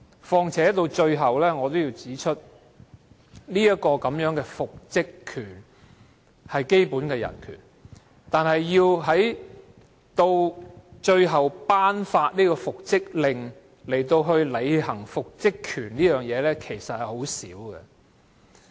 況且，復職權是基本人權。但是，僱員要求法庭頒布復職令，並且行使其復職權的情況，其實鮮會出現。